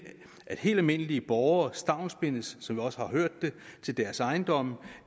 at helt almindelige borgere stavnsbindes som vi også har hørt det til deres ejendomme